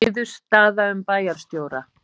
Niðurstaða um bæjarstjóra